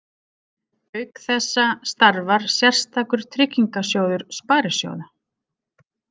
Auk þessa starfar sérstakur tryggingasjóður sparisjóða.